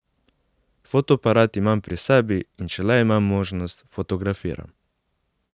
Fotoaparat imam pri sebi, in če le imam možnost, fotografiram.